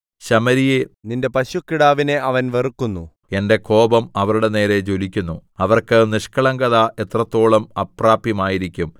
ശമര്യയേ നിന്റെ പശുക്കിടാവിനെ അവൻ വെറുക്കുന്നു എന്റെ കോപം അവരുടെ നേരെ ജ്വലിക്കുന്നു അവർക്ക് നിഷ്ക്കളങ്കത എത്രത്തോളം അപ്രാപ്യമായിരിക്കും